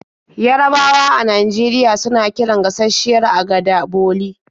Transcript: Yarabawa a Najeriya suna kiran gashasshiyar agada 'boli'.